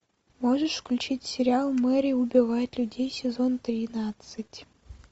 можешь включить сериал мэри убивает людей сезон тринадцать